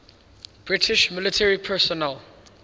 british military personnel